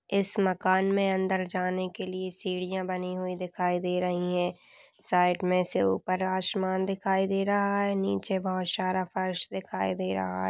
इस मकान में अंदर जाने के लिए सीढ़ियां बनी हुई दिखाई दे रही हैं साइड में से ऊपर आशमान (आसमान) दिखाई दे रहा है नीचे बहोत सारा फर्स दिखाई दे रहा है।